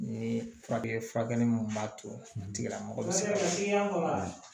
Ni furakɛli mun b'a to a tigila mɔgɔ sɛgɛnko